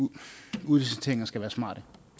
ja udliciteringer skal være smarte